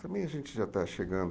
Também a gente já está chegando.